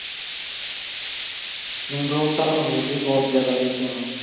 spring roll ਤਾਂ ਹੋਰ ਵੀ ਬਹੁਤ ਜਗ੍ਹਾ ਦੇ famous ਨੇ